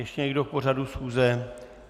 Ještě někdo k pořadu schůze?